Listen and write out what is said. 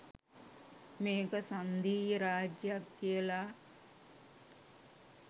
මේක සංධීය රාජ්‍යයක් කියලා.